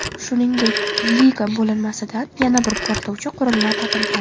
Shuningdek, Liga bo‘linmasidan yana bir portlovchi qurilma topilgan.